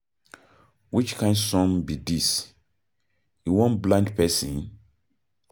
Which kin sun be dis? E wan blind person?